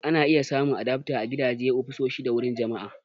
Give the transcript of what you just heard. Ana iya samun adaftar a gidaje, ofisoshi, da wuraren jama'a.